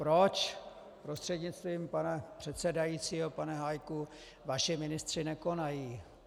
Proč, prostřednictvím pana předsedajícího pane Hájku, vaši ministři nekonají?